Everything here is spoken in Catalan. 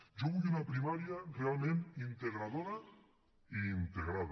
jo vull una primària realment integradora i integrada